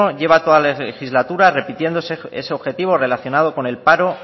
lleva toda la legislatura repitiendo ese objetivo relacionado con el paro